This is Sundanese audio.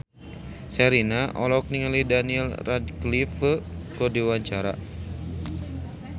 Sherina olohok ningali Daniel Radcliffe keur diwawancara